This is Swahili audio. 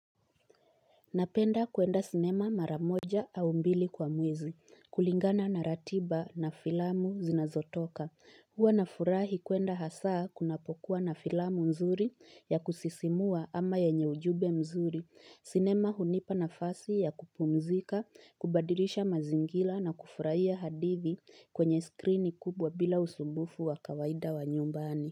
Napenda kuenda sinema maramoja au mbili kwa mwezi, kulingana na ratiba na filamu zinazotoka. Huwa na furahi kuenda hasaa kunapokuwa na filamu mzuri ya kusisimua ama yenye ujumbe mzuri. Sinema hunipa nafasi ya kupumzika, kubadilisha mazingira na kufurahia hadithi kwenye skrini kubwa bila usumbufu wa kawaida wa nyumbani.